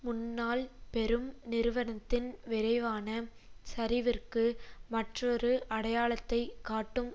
முன்னாள் பெரும் நிறுவனத்தின் விரைவான சரிவிற்கு மற்றொரு அடையாளத்தை காட்டும்